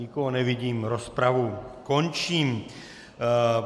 Nikoho nevidím, rozpravu končím.